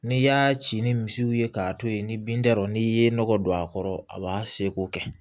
N'i y'a ci ni misiw ye k'a to ye ni bin t'a rɔ n'i ye nɔgɔ don a kɔrɔ a b'a seko kɛ